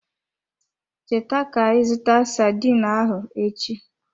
Cheta ka ị zụta sardine ahụ echi.